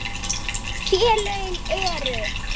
Félögin eru